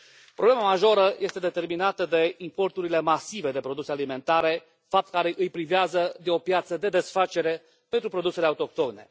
Problema majoră este determinată de importurile masive de produse alimentare, fapt care îi privează de o piață de desfacere pentru produsele autohtone.